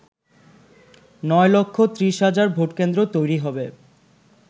নয় লক্ষ ৩০ হাজার ভোটকেন্দ্র তৈরী হবে।